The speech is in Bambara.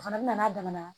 O fana bɛ na n'a damana